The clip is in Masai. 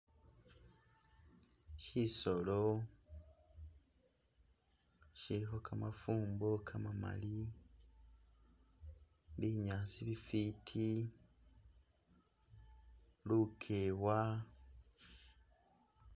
shisolo shiliho kamafumbo kamamali, binyaasi bifiti, lukewa